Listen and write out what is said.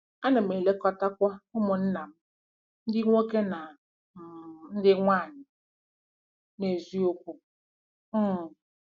Ana m elekọtakwa ụmụnna m ndị nwoke na um ndị nwaanyị n’eziokwu um.